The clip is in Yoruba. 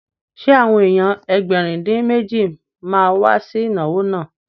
Ṣé àwọn èèyàn Ẹgbẹ̀rin-dín-méjì ma wá sí ìnáwó náà?